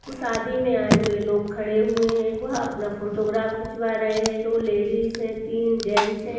शादी में आये हुए लोग खड़े हुए हैं वह अपना फोटोग्राफ खिंचवा रहे हैं दो लेडीज हैं तीन जेंट्स हैं।